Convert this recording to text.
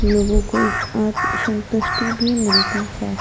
लोगों को एक अत संतुष्टि भी मिलती है।